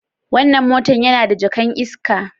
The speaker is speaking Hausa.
Wannan motan yana da jaka'n iska?